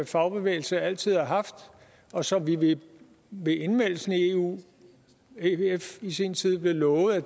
fagbevægelse altid har haft og som vi ved indmeldelsen i eu ef i sin tid blev lovet at